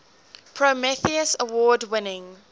prometheus award winning